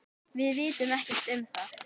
Við vitum ekkert um það.